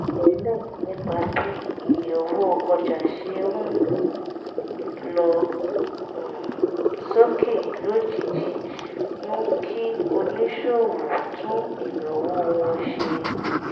àìròtẹ́lẹ̀ nípa bí iye owó ọjà ṣe ń lọ um sókè lójijì mú kí oníṣòwò tún ìnáwó wọn ṣe